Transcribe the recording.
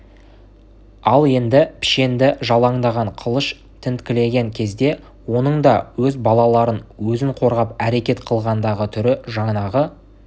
ал енді пішенді жалаңдаған қылыш тінткілеген кезде оның да өз балаларын өзін қорғап әрекет қылғандағы түрі жанағы